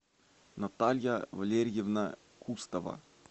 наталья валерьевна кустова